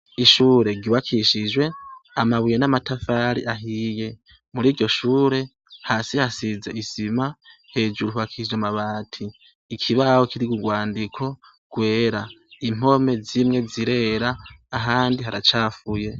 Ishure ryubakishijwe amabuye n'amatafari ahiye . Mur'iryo shure ,hasi hasize isima, hejuru hubakishijwe amabati. Ikibaho kiriko urwandiko rwera. Impome zimwe zirera, ahandi haracafuye.